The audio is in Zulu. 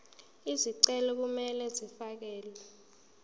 izicelo kumele zifakelwe